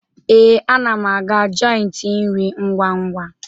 Ee, ana m aga joiti nri ngwa ngwa.